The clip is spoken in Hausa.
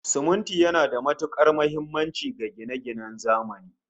Siminti yana da matukar muhimmanci ga gine-ginen zamani